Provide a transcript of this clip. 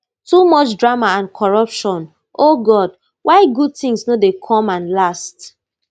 too much drama and corruption o god why good tins no dey come and last